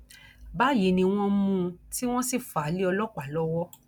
báyìí ni wọn mú un tí wọn sì fà á lé ọlọpàá lọwọ